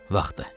Vaxtı.